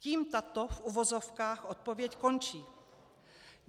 Tím tato - v uvozovkách - odpověď končí.